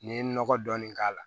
N'i ye nɔgɔ dɔɔni k'a la